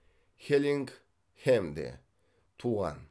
хеллингхэмде туған